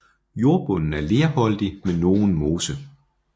Jordbunden er lerholdig med nogen mose